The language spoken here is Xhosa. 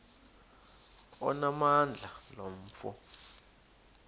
onamandla lo mfo